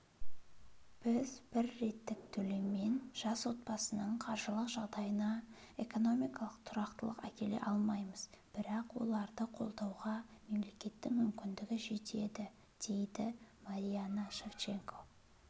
біз бір реттік төлеммен жас отбасының қаржылық жағдайына экономикалық тұрақтылық әкеле алмаймыз бірақ оларды қолдауға мемлекеттің мүмкіндігі жетеді дейді марианна шевченко